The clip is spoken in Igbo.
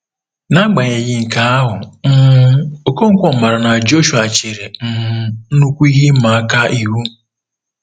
N'agbanyeghị nke ahụ, um Okonkwo maara na Joshua chere um nnukwu ihe ịma aka ihu.